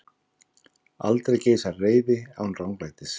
Aldrei geisar reiði án ranglætis.